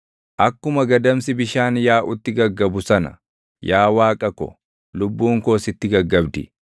Akkuma gadamsi bishaan yaaʼutti gaggabu sana, yaa Waaqa ko, lubbuun koo sitti gaggabdi.